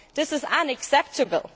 This is unacceptable.